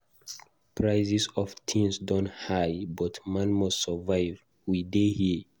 Prices of things don high but man must survive, we dey here.